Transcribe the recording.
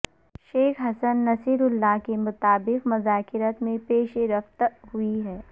شیخ Hassan Nasrallah کے مطابق مذاکرات میں پیش رفت ہوئی ہے